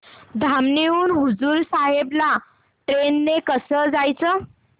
धामणी हून हुजूर साहेब ला ट्रेन ने कसं जायचं